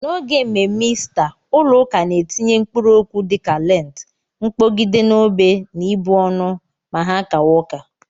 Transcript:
N'oge mme mme Ista ụlọ ụka na-etinye mkpụrụ okwu dịka lentị, mkpogide n'obé na ịbụ ọnụ ma ha kawa ụka.